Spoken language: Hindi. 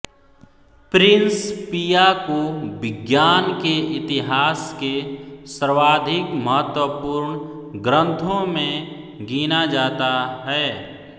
प्रिंसपिया को विज्ञान के इतिहास के सर्वाधिक महत्वपूर्ण ग्रन्थों में गिना जाता है